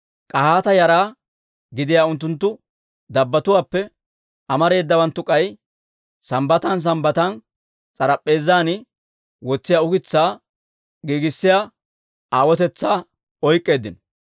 K'ahaata yara gidiyaa unttunttu dabbatuwaappe amareedawanttu k'ay Sambbatan Sambbatan s'arp'p'eezan wotsiyaa ukitsaa giigissiyaa aawotetsaa oyk'k'eeddino.